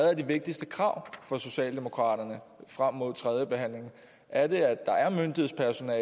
er de vigtigste krav for socialdemokraterne frem mod tredjebehandlingen er det at der er myndighedspersoner og